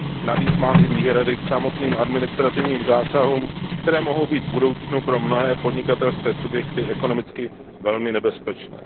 Navíc mám i výhrady k samotným administrativním zásahům, které mohou být v budoucnu pro mnohé podnikatelské subjekty ekonomicky velmi nebezpečné.